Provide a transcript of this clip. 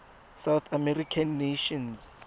south american nations